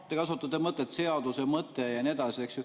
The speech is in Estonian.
Te kasutate mõtet, et seaduse mõte ja nii edasi, eks ju.